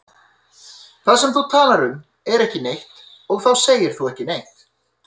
Það sem þú talar um er ekki neitt og þá segir þú ekki neitt.